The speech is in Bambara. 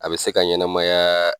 A bɛ se ka ɲɛnɛmayaaa.